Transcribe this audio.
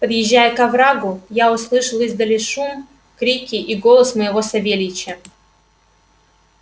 подъезжая к оврагу я услышал издали шум крики и голос моего савельича